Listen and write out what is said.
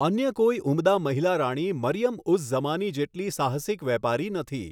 અન્ય કોઈ ઉમદા મહિલા રાણી મરિયમ ઉઝ ઝમાની જેટલી સાહસિક વેપારી નથી.